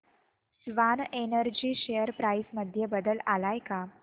Swan Energy share price मध्ये बदल आलाय का